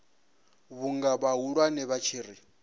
vhunga vhahulwane vha tshi ri